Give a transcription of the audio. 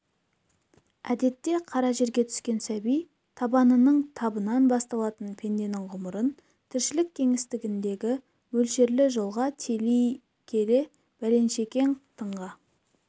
әдетте қара жерге түскен сәби табанының табынан басталатын пенденің ғұмырын тіршілік кеңістігіндегі мөлшерлі жолға тели келе бәленшекең тыңға